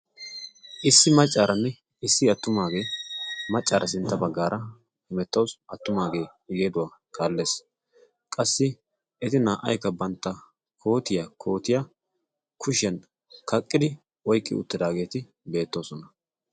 Issi maccaaranne issi attumaagee maccaara sintta baggaara hemettawus attumaagee igeeduwaa kaallees. qassi eti naa"aikka bantta kootiya kootiya kushiyan kaqqidi oyqqi uttidaageeti beettoosona.